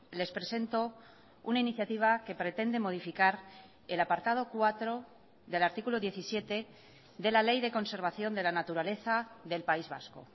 les presento una iniciativa que pretende modificar el apartado cuatro del artículo diecisiete de la ley de conservación de la naturaleza del país vasco